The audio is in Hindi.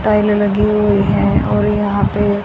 टाइल लगी हुई है और यहां पे--